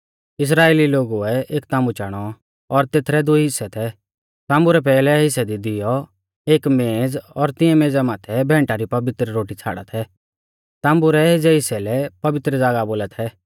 इस्राइली लोगुऐ एक ताम्बु चाणौ और तेथरै दुई हिस्सै थै ताम्बु रै पैहलै हिस्सै दी दिवौ एक मेंज़ और तिऐं मेज़ा माथै भैंटा री पवित्र रोटी छ़ाड़ा थै ताम्बु रै एज़ै हिस्सै लै पवित्र ज़ागाह बोला थै